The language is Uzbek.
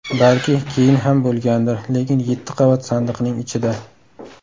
Balki keyin ham bo‘lgandir, lekin yetti qavat sandiqning ichida.